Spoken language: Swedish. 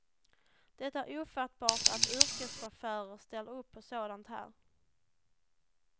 Det är ofattbart att yrkeschaufförer ställer upp på sådant här.